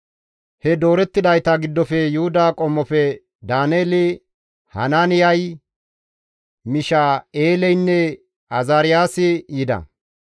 He doorettidayta giddofe Yuhuda qommofe Daaneeli, Hanaaniyay, Misha7eeleynne Azaariyaasi yida.